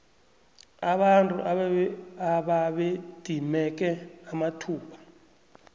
abantu ababedimeke amathuba